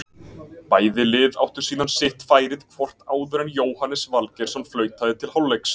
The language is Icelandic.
Bæði lið áttu síðan sitt færið hvort áður en Jóhannes Valgeirsson flautaði til hálfleiks.